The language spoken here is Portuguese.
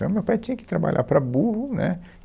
Então, meu pai tinha que trabalhar para burro, né?